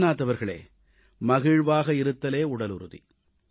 தேவ்நாத் அவர்களே மகிழ்வாக இருத்தலே உடலுறுதி